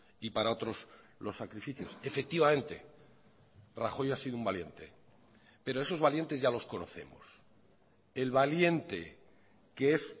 y para otros los sacrificios efectivamente rajoy ha sido un valiente pero esos valientes ya los conocemos el valiente que es